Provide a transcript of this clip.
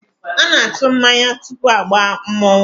A na-atụ mmanya tupu agbaa mmọnwụ